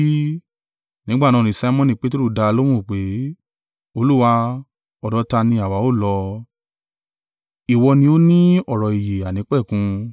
Nígbà náà ni Simoni Peteru dá a lóhùn pé, “Olúwa, ọ̀dọ̀ ta ni àwa ó lọ? Ìwọ ni ó ni ọ̀rọ̀ ìyè àìnípẹ̀kun.